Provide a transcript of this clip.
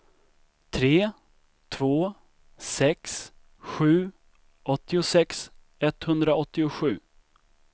tre två sex sju åttiosex etthundraåttiosju